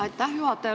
Aitäh, juhataja!